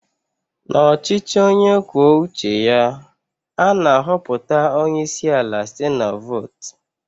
N'ọchịchị onye kwuo uche ya, a na-ahọpụta onye isi ala site na-vot.